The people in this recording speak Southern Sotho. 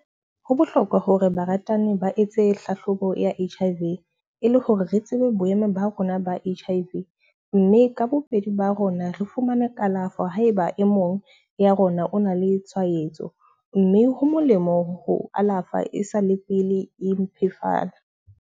Ho bohlokwa hore baratani ba etse hlahlobo ya H_I_V e le hore re tsebe boemo ba rona ba H_I_V. Mme ka bobedi ba rona re fumane kalafo ha eba e mong ya rona o na le tshwaetso. Mme ho molemo ho alafa e sa le pele e mpefala.